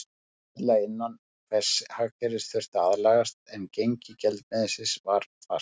Almennt verðlag innan hvers hagkerfis þurfti að aðlagast, en gengi gjaldmiðilsins var fast.